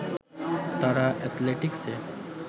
তারা এথলেটিক্স-এ